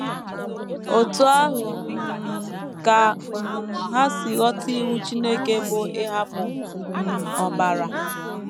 Otú ahụ um ka um ha si ghọta iwu Chineke bụ́ ‘ ịhapụ um ọbara. ’